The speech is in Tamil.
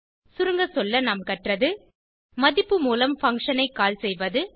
சுருங்க சொல்ல நாம் கற்றது மதிப்பு மூலம் பங்ஷன் ஐ கால் செய்வது